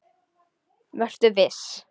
Vertu viss.